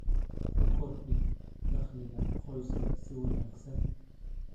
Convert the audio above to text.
u kordhi dakhliga qoyska si wanaagsan.